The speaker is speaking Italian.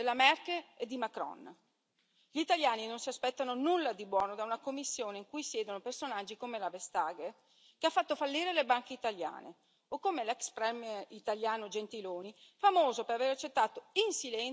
Gli italiani non si aspettano nulla di buono da una Commissione in cui siedono personaggi come la Vestager, che ha fatto fallire le banche italiane, o come l'ex premier italiano Gentiloni, famoso per aver accettato in silenzio gli ordini di Bruxelles e di Berlino.